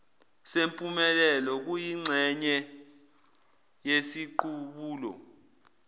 sempumelelo kuyingxenye yesiqubulo